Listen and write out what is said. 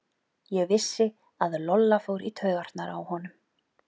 Ég vissi að Lolla fór í taugarnar á honum.